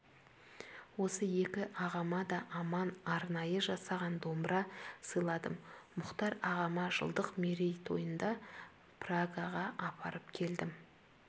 осы екі ағама да аман арнайы жасаған домбыра сыйладым мұхтар ағама жылдық мерейтойында прагаға апарып бердім